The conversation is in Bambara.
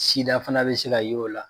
Sida fana bɛ se ka y'o la.